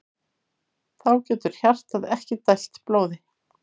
Þá getur hjartað ekki dælt blóði.